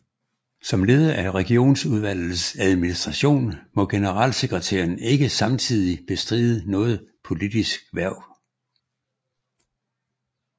Som leder af Regionsudvalgets administration må generalsekretæren ikke samtidig bestride noget politisk hverv